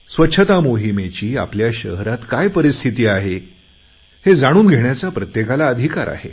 स्वच्छता मोहिमेची आपल्या शहरात काय परिस्थिती आहे हे जाणून घेण्याचा प्रत्येकाला अधिकार आहे